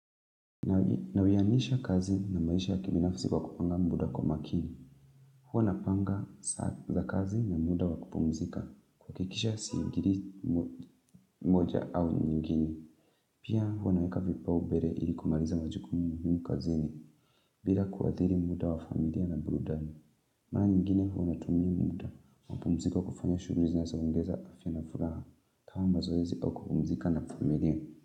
Nawianisha kazi na maisha kimi nafsi wakupanga muda kumakini. Huwa napanga za kazi na muda wakupomzika. Kuhakikisha siingiri moja au nyugini. Pia wanaweka vipaubere ilikumaliza majukumini yungu kazini. Bila kuadiri muda wa familia na burudani. Mara nyigine wanatumiai muda. Mapumziko wa kufanya shughuli zinazoongeza afyanafuraha. Kama mazoezi wa kupumzika na familia.